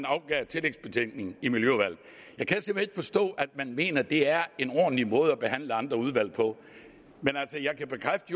afgivet tillægsbetænkning i miljøudvalget jeg kan simpelt forstå at man mener det er en ordentlig måde at behandle andre udvalg på men altså jeg kan bekræfte